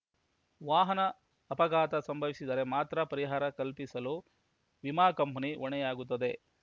ವಾಹನ ಅಪಘಾತ ಸಂಭವಿಸಿದರೆ ಮಾತ್ರ ಪರಿಹಾರ ಕಲ್ಪಿಸಲು ವಿಮಾ ಕಂಪನಿ ಹೊಣೆಯಾಗುತ್ತದೆ